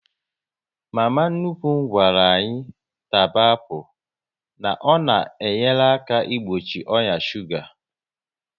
Mama nnukwu gwara anyị taba apụl, na ọ na enyere aka igbochi oya shuga